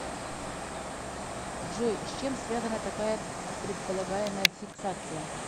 джой с чем связана такая предполагаемая фиксация